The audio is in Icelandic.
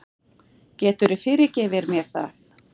Geturðu fyrirgefið mér það?